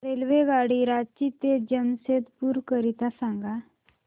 रेल्वेगाडी रांची ते जमशेदपूर करीता सांगा